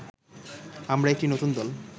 আমরা একটি নতুন দল